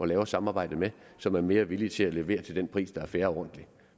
lave et samarbejde med som er mere villig til at levere til den pris der er fair og ordentlig